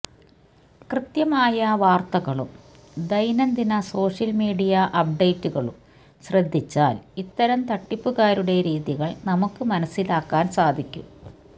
കൃത്യമായ വാര്ത്തകളും ദൈനംദിന സോഷ്യല് മീഡിയ അപ്ഡേറ്റുകളും ശ്രദ്ധിച്ചാല് ഇത്തരം തട്ടിപ്പുകാരുടെ രീതികള് നമുക്ക് മനസിലാക്കാന് സാധിക്കും